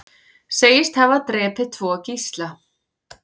Segist hafa drepið tvo gísla